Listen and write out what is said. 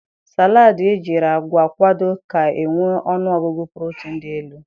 Saladị ejiri agwa kwado ga-enwe ọnụọgụgụ protin dị elu.